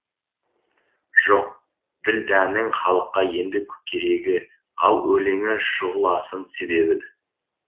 жоқ ділдәнің халыққа енді керегі ал өлеңі шұғыласын себеді